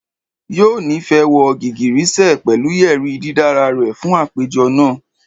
Yoo nifẹ wọ igigirisẹ pẹlu yeri didara rẹ fun apejọ naa